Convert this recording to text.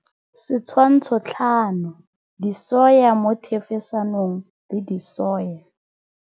Setshwantsho 5 Disoya mo thefosanong le disoya.